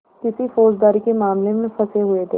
किसी फौजदारी के मामले में फँसे हुए थे